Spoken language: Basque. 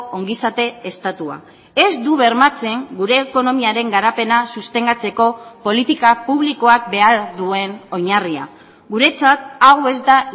ongizate estatua ez du bermatzen gure ekonomiaren garapena sostengatzeko politika publikoak behar duen oinarria guretzat hau ez da